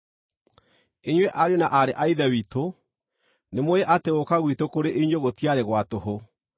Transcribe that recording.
Inyuĩ ariũ na aarĩ a Ithe witũ, nĩmũũĩ atĩ gũũka gwitũ kũrĩ inyuĩ gũtiarĩ gwa tũhũ.